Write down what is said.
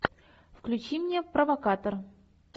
включи мне провокатор